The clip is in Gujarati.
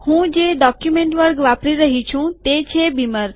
હું જે ડોક્યુમેન્ટ વર્ગ વાપરી રહ્યો છું તે છે બીમર